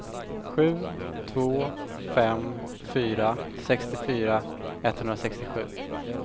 sju två fem fyra sextiofyra etthundrasextiosju